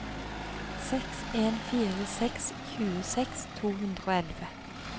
seks en fire seks tjueseks to hundre og elleve